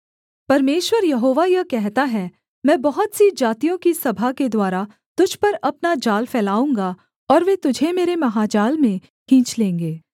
परमेश्वर यहोवा यह कहता है मैं बहुत सी जातियों की सभा के द्वारा तुझ पर अपना जाल फैलाऊँगा और वे तुझे मेरे महाजाल में खींच लेंगे